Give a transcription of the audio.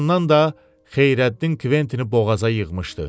Bir yandan da Xeyrəddin Kventini boğaza yığmışdı.